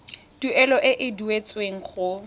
tuelo e e duetsweng go